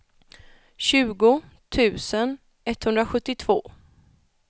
tjugo tusen etthundrasjuttiotvå